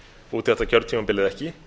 út þetta kjörtímabil eða ekki